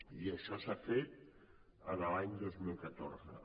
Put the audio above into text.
i això s’ha fet l’any dos mil catorze